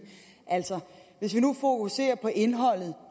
altså vi fokuserer på indholdet